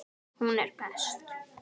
Hún er best.